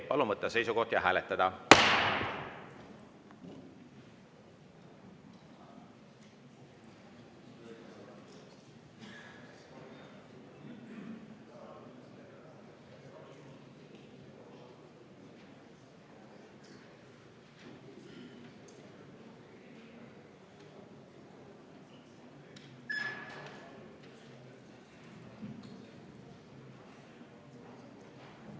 Palun võtta seisukoht ja hääletada!